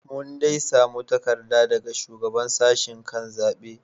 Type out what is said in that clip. Mun dai samu takarda daga Shugaban Sashen kan zaben.